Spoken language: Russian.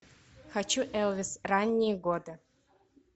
хочу элвис ранние годы